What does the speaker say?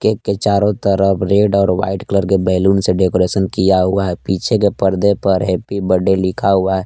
इसके चारों तरफ रेड और वाइट कलर के बैलून से डेकोरेशन किया हुआ है पीछे के परदे पर हैप्पी बड्डे लिखा हुआ है।